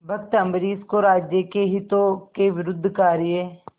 भक्त अम्बरीश को राज्य के हितों के विरुद्ध कार्य